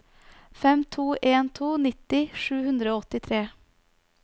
fem to en to nitti sju hundre og åttitre